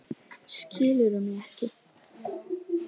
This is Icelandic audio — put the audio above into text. Skilurðu mig ekki?